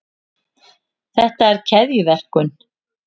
þetta er keðjuverkun